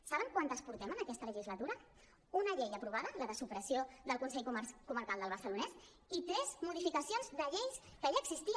saben quantes en portem en aquesta legislatura una llei aprovada la de supressió del consell comarcal del barcelonès i tres modificacions de lleis que ja existien